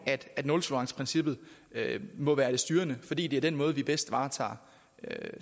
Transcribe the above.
at nultoleranceprincippet må være det styrende fordi det er den måde vi bedst varetager